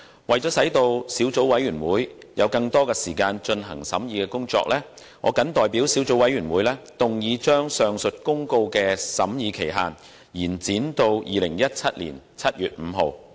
為了使小組委員會有更多時間進行審議工作，我謹代表小組委員會，動議將上述公告的審議期限延展至2017年7月5日。